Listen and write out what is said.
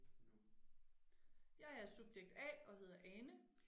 Jeg er subjekt A og hedder Ane